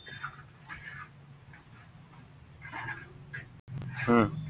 উম